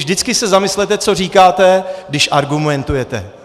Vždycky se zamyslete, co říkáte, když argumentujete.